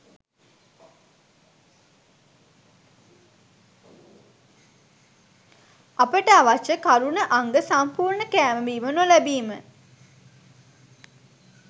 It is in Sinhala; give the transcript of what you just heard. අපට අවශ්‍ය කරණ අංඟ සම්පූර්ණ කෑම බීම නොලැබීම.